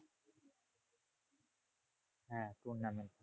হ্যাঁ tournament.